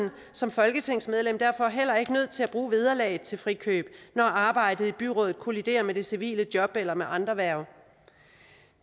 som folketingsmedlem derfor heller ikke nødt til at bruge vederlaget til frikøb når arbejdet i byrådet kolliderer med det civile job eller med andre hverv